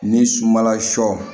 Ni sunbala sɔ